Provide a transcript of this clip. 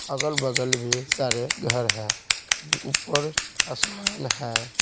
अगल-बगल भी सारे घर हैं ऊपर आसमान है।